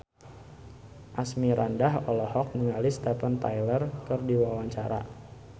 Asmirandah olohok ningali Steven Tyler keur diwawancara